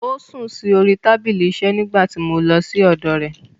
Ó sùn sí orí tábìlì ìṣiṣẹ́ nígbà tí mo lọ sí ọ̀dọ̀ rẹ̀.